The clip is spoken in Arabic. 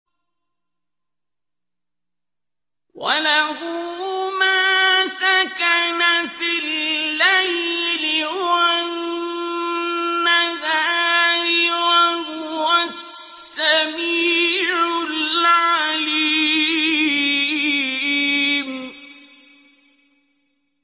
۞ وَلَهُ مَا سَكَنَ فِي اللَّيْلِ وَالنَّهَارِ ۚ وَهُوَ السَّمِيعُ الْعَلِيمُ